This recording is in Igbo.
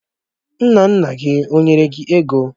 Nna nna gi ó nyere gi ego?